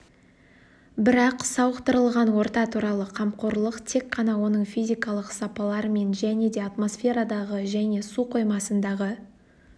бірақ сауықтырылған орта туралы қамқорлық тек қана оның физикалық сапаларымен және де атмосферадағы және су қоймасындағы